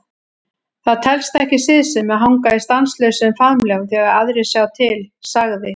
Það telst ekki siðsemi að hanga í stanslausum faðmlögum þegar aðrir sjá til, sagði